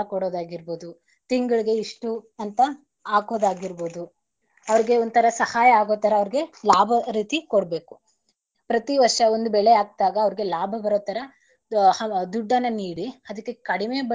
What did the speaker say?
ಸಾಲ ಕೊಡೋದಾಗಿರ್ಬೋದು ತಿಂಗಳಿಗೆ ಇಷ್ಟು ಅಂತ ಹಾಕೋದಾಗಿರ್ಬೋದು ಅವರಿಗೆ ಒಂತರ ಸಹಾಯ ಆಗೋತರ ಅವರಿಗೆ ಲಾಭ ರೀತಿ ಕೊಡ್ಬೇಕು. ಪ್ರತಿ ವರ್ಷ ಒಂದ್ ಬೆಳೆ ಹಾಕದಾಗ ಅವರಿಗೆ ಲಾಭ ಬರೋತ್ತರ ದುಡ್ಡನ್ನ ನೀಡಿ ಅದಿಕ್ಕೆ ಕಡಿಮೆ.